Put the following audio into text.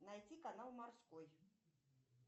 найти канал морской